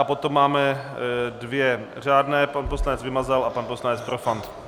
A potom máme dvě řádné, pan poslanec Vymazal a pan poslanec Profant.